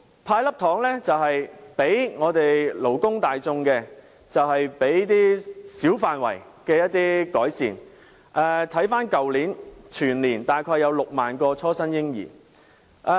"派粒糖"即在小範圍給予勞工大眾一些改善，例如回顧去年，全年約有6萬名初生嬰兒。